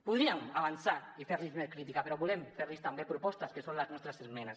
podríem avançar i fer los una crítica però volem fer los també propostes que son les nostres esmenes